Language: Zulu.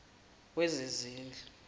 wezezindlu